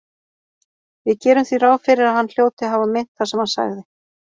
Við gerum því ráð fyrir að hann hljóti að hafa meint það sem hann sagði.